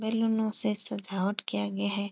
बेलूनों से सजावट किया गया है।